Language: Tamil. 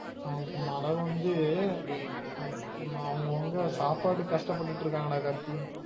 ஆஹ் மழ வந்து அவங்க அவங்க சாப்பாட்டுக்கு கஷ்டபட்டுட்டு இருக்காங்க டா கார்த்தி